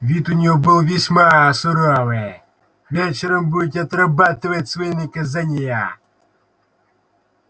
вид у неё был весьма суровый вечером будете отрабатывать свои наказания